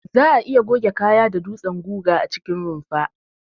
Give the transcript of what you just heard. Za'a iya goge kaya da dutsen guga a cikin rumfa.